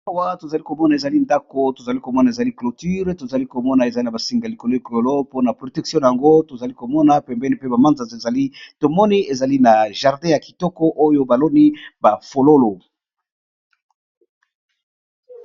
Awa tozali ko mona ezali ndako tozali ko mona ezali cloture tozali ko mona ezali na ba singa likolo likolô mpo na protektion na ngo tozali ko mona pembeni pe ba manzaza ezali tomoni ezali na jardin ya kitoko oyo baloni bafololo.